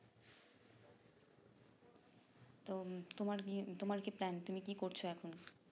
তো তোমার কি তোমার কি plan তুমি কি করছো এখন